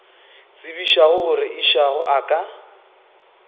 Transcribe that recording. tsebišago gore išago a ka